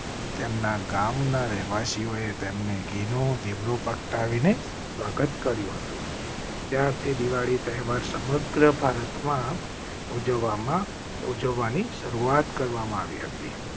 તેમના ગામના રહેવાસીઓએ તેમને ઘીનું. દીવડાઓ પ્રગટાવીને સ્વાગત કર્યું હતું. પ્યાર સે દિવાળી તહેવાર સમગ્ર ભારત માં ઉજવવા માં ઉજવવા ની શરૂઆત કરવામાં આવી હતી.